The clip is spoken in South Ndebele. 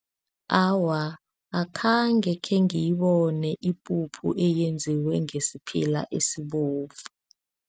Awa, akhange khengiyibone ipuphu eyenziwe ngesiphila esibovu.